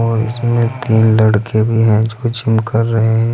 और इसमें तीन लड़के भी है जो जिम कर रहे है।